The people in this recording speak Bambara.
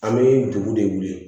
An bɛ dugu de wele